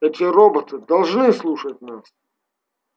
эти роботы должны слушать нас